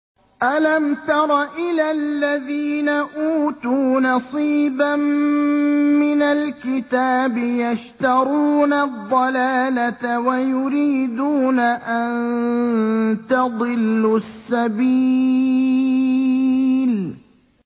أَلَمْ تَرَ إِلَى الَّذِينَ أُوتُوا نَصِيبًا مِّنَ الْكِتَابِ يَشْتَرُونَ الضَّلَالَةَ وَيُرِيدُونَ أَن تَضِلُّوا السَّبِيلَ